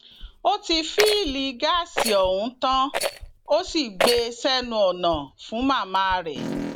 ó ti fìlílì gáàsì ọhún tán ó sì gbé e sẹnu ọnà fún màmá rẹ